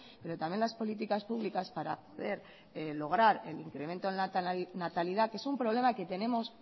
pero también las políticas públicas para poder lograr el incremento en la natalidad que es un problema que tenemos